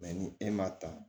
ni e m'a ta